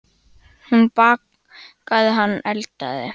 Hún bakaði, hann eldaði.